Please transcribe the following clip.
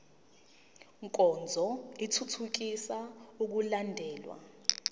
nkonzo ithuthukisa ukulandelwa